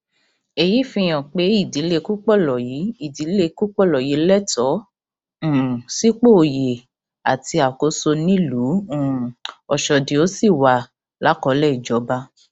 èyí fihàn pé ìdílé kúpọlọyí ìdílé kúpọlọyí lẹtọọ um sípò oyè àti àkóso nílùú um ọṣọdì ó sì wà lákọọlẹ ìjọba